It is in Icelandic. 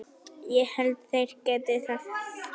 Ég held þeir geti það.